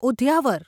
Udyavar